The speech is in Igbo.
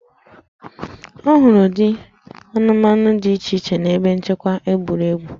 A hụrụ ụdị anụmanụ dị iche iche n'ebe nchekwa egwuregwu